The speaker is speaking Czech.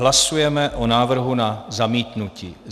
Hlasujeme o návrhu na zamítnutí.